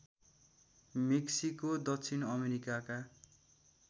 Mexico दक्षिण अमेरिकाका